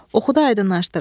Oxudu, aydınlaşdırın.